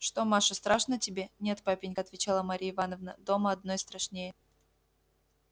что маша страшно тебе нет папенька отвечала марья ивановна дома одной страшнее